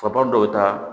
Faba dɔw ta